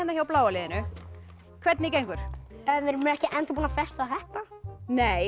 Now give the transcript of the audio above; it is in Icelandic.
hjá bláa liðinu hvernig gengur við erum ekki ennþá búin að festa